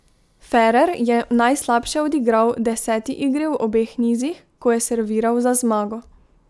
Ferrer je najslabše odigral deseti igri v obeh nizih, ko je serviral za zmago.